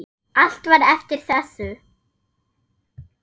Allt var eftir þessu.